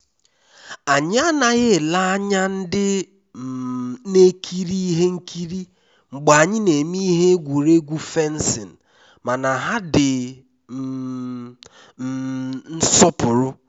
anyị anaghị ele anya ndị um na ekiri ihe nkiri mgbe anyị na-eme ihe egwuregwu fencing mana ha di um um nsopuru